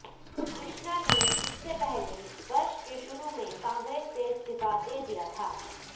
कृष्णा ने इससे पहले वर्ष के शुरू में कांग्रेस से इस्तीफा दे दिया था